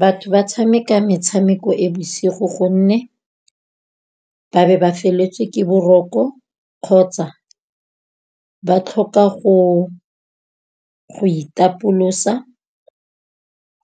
Batho ba tshameka metshameko e bosigo gonne, ba be ba feletswe ke boroko, kgotsa ba tlhoka go itapolosa